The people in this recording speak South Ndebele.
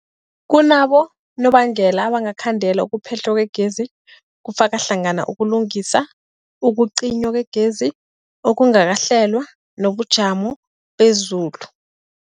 Kunabonobangela abangakhandela ukuphehlwa kwegezi, kufaka hlangana ukulungisa, ukucinywa kwegezi okungakahlelwa, nobujamo bezulu.